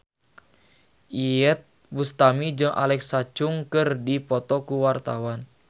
Iyeth Bustami jeung Alexa Chung keur dipoto ku wartawan